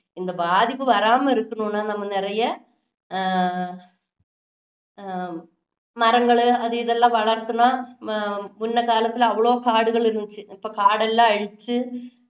இந்த பாதிப்பு வராம இருக்கணும்னா நாம நிறைய ஆஹ் மரங்கள் அது இதெல்லாம் வளர்க்கணும் முன்ன காலத்துல அவ்வளவு காடுகள் இருந்துச்சு இப்போ காடெல்லாம் அழிச்சு